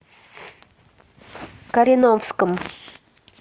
кореновском